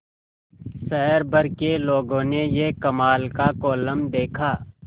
शहर भर के लोगों ने यह कमाल का कोलम देखा